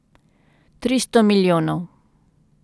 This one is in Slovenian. Tristo milijonov.